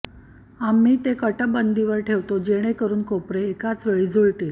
आम्ही ते कटबंदीवर ठेवतो जेणेकरून कोपरे एकाच वेळी जुळतील